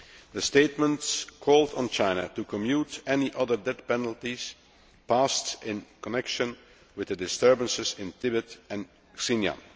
The statements called on China to commute any other death penalties passed in connection with the disturbances in Tibet and Xinjiang.